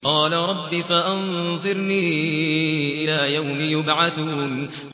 قَالَ رَبِّ فَأَنظِرْنِي إِلَىٰ يَوْمِ يُبْعَثُونَ